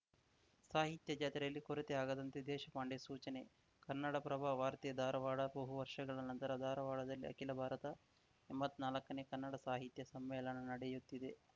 ಸಾಹಿತ್ಯ ಜಾತ್ರೆಯಲ್ಲಿ ಕೊರತೆ ಆಗದಂತೆ ದೇಶಪಾಂಡೆ ಸೂಚನೆ ಕನ್ನಡಪ್ರಭ ವಾರ್ತೆ ಧಾರವಾಡ ಬಹು ವರ್ಷಗಳ ನಂತರ ಧಾರವಾಡದಲ್ಲಿ ಅಖಿಲ ಭಾರತ ಎಂಬತ್ನಾಲ್ಕನೇ ಕನ್ನಡ ಸಾಹಿತ್ಯ ಸಮ್ಮೇಳನ ನಡೆಯುತ್ತಿದೆ